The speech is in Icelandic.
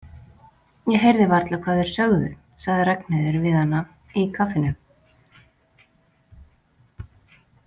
Ég heyrði varla hvað þeir sögðu, sagði Ragnheiður við hana í kaffinu.